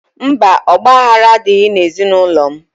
Mba, ọgbaghara adịghị n'ezinaụlọ m.